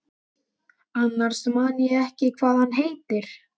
Annars man ég ekkert hvað hann heitir.